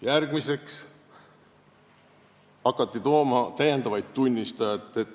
Järgmiseks hakati tooma uusi tunnistajaid.